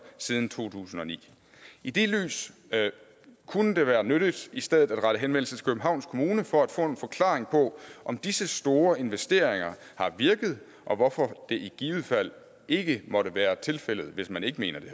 siden to tusind og ni i det lys kunne det være nyttigt i stedet at rette henvendelse til københavns kommune for at få en forklaring på om disse store investeringer har virket og hvorfor det i givet fald ikke måtte være tilfældet hvis man ikke mener det